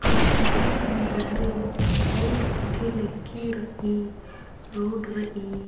और ईटीयम ही बहरे लाईट गूट्ठी लग्गी रइई रोड़ रइई---